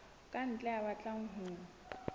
ka ntle ya batlang ho